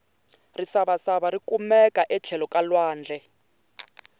risavasava rikumeka etlhelo ka lwandle